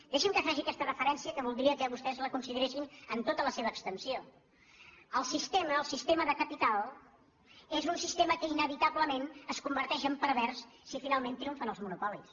deixi’m que faci aquesta referència que voldria que vostès la consideressin en tota la seva extensió el sis·tema el sistema de capital és un sistema que inevita·blement es converteix en pervers si finalment triomfen els monopolis